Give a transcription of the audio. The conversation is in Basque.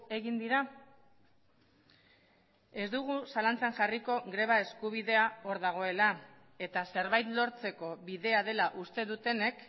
egin dira ez dugu zalantzan jarriko greba eskubidea hor dagoela eta zerbait lortzeko bidea dela uste dutenek